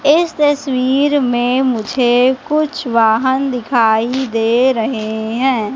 इस तस्वीर में मुझे कुछ वाहन दिखाई दे रहे हैं।